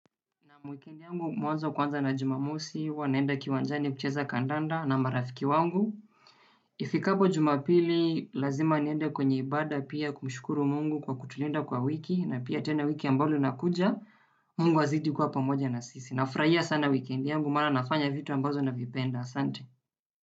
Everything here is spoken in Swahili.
Naam wikendi yangu mwanzo kwanza na Jumamosi, huwa naenda kiwanjani kucheza kandanda na marafiki wangu. Ifikapo Jumapili, lazima niende kwenye ibada pia kumshukuru Mungu kwa kutulinda kwa wiki, na pia tena wiki ambalo inakuja, Mungu azidi kuwa pamoja na sisi. Nafurahia sana wikendi yangu, maana nafanya vitu ambazo navipenda asante.